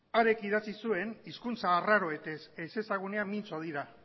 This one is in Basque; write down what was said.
hark idatzi zuen hizkuntza arraroez ezezagunean mintzo dira